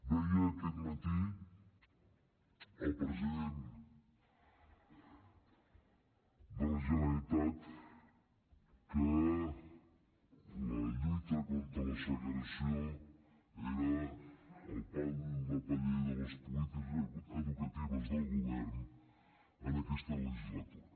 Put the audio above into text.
deia aquest matí el president de la generalitat que la lluita contra la segregació era el pal de paller de les polítiques educatives del govern en aquesta legislatura